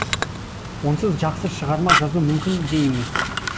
онсыз жақсы шығарма жазу мүмкін де емес